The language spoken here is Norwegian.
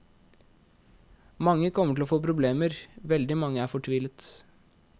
Mange kommer til å få problemer, veldig mange er fortvilet.